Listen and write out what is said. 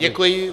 Děkuji.